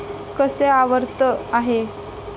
कसे आवर्त आहे